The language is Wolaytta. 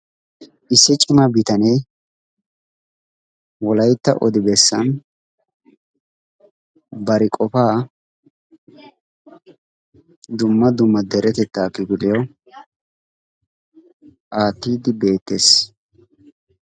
issi cima bitanee wolaytta odi beessaan bari qofaa dumma dumma deretettaa kifiliyaawu aattidi beettess.